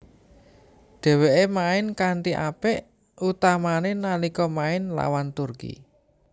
Dheweke main kanthi apik utamane nalika main lawan Turki